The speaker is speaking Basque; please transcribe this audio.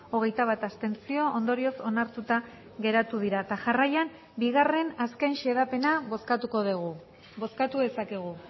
hogeita bat abstentzio ondorioz onartuta geratu dira eta jarraian bigarren azken xedapena bozkatuko dugu bozkatu dezakegu